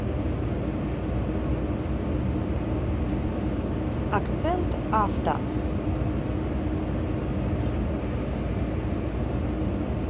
акцент авто